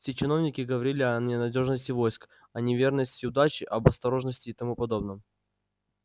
все чиновники говорили о ненадёжности войск о неверности удачи об осторожности и тому подобном